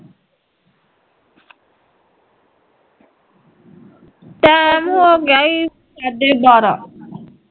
time ਹੋਗਿਆ ਈ ਸਾਢੇ ਬਾਰਾਂ